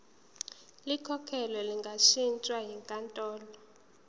likhokhelwe lingashintshwa yinkantolo